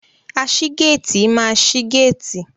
Aṣígéétìì máa ṣi géétìì.